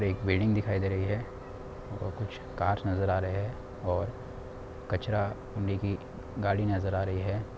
एक बिल्डिंग दिखाई दे रही है और कुछ कार्स नजर आ रहे है और कचरा मिनी की गाड़ी नजर आ रही है।